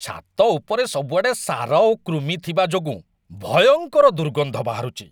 ଛାତ ଉପରେ ସବୁଆଡ଼େ ସାର ଓ କୃମି ଥିବା ଯୋଗୁଁ ଭୟଙ୍କର ଦୁର୍ଗନ୍ଧ ବାହାରୁଛି।